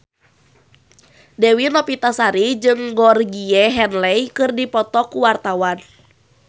Dewi Novitasari jeung Georgie Henley keur dipoto ku wartawan